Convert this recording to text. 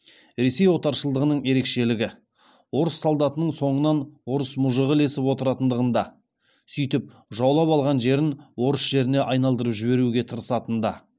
ресей отаршылдығының ерекшелігі орыс солдатының соңынан орыс мұжығы ілесіп отыратындығында сөйтіп жаулап алған жерін орыс жеріне айналдырып жіберуге тырысатында